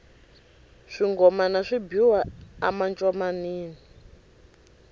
swingomana swi biwa a mancomanini